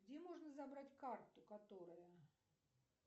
где можно забрать карту которая